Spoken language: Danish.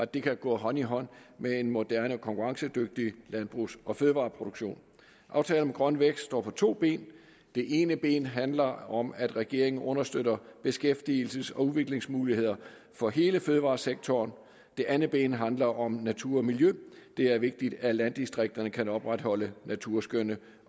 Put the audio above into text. der kan gå hånd i hånd med en moderne konkurrencedygtig landbrugs og fødevareproduktion aftalen om grøn vækst står på to ben det ene ben handler om at regeringen understøtter beskæftigelses og udviklingsmuligheder for hele fødevaresektoren det andet ben handler om natur og miljø det er vigtigt at landdistrikterne kan opretholde naturskønne